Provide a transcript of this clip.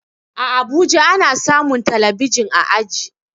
A abuja ana samun talabijin a aji